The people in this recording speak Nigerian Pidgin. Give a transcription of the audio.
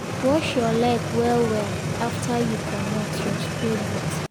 wash your leg well well after you commot your spray boot.